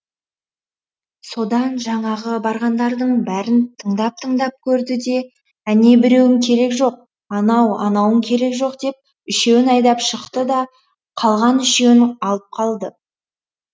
содан жаңағы барғандардың бәрін тыңдап тыңдап көрді де әнебіреуің керек жоқ анау анауың керек жоқ деп үшеуін айдап шықты да қалған үшеуін алып қалды